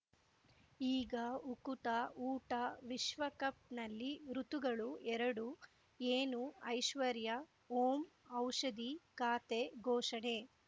ಈಗ ಉಕುತ ಊಟ ವಿಶ್ವಕಪ್‌ನಲ್ಲಿ ಋತುಗಳು ಎರಡು ಏನು ಐಶ್ವರ್ಯಾ ಓಂ ಔಷಧಿ ಖಾತೆ ಘೋಷಣೆ